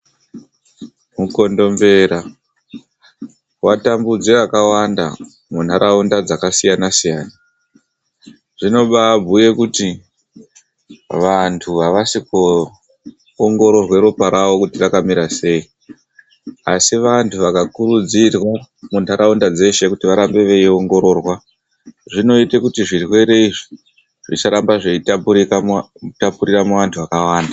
Mukondombera, watambudza akawanda muntaraunda dzakasiyana-siyana. Zvinobaabhuye kuti vantu avasi kuongororwa ropa ravo kuti rakamira sei? Asi vanthu vakakurudzirwa muntaraunda dzeshe kuti varambe veiongororwa, zvinoita kuti zvirwere izvi zvisaramba zveitapurira muantu akawanda.